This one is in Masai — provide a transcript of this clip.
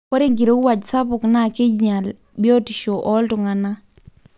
ore enkirowuaj sapuk na kithial biotisho oltungana,